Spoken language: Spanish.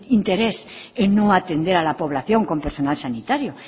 interés en no atender a la población con personal sanitario